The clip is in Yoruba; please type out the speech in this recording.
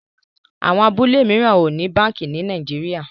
Àwọn abúlé míràn o ní bánkì ní Nàìjíríà.